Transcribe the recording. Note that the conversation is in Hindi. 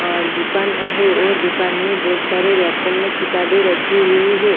आ दुकन है और दुकान में बहुत सारे रेको में किताबें रखी हुई है।